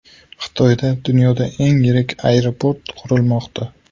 Xitoyda dunyoda eng yirik aeroport qurilmoqda .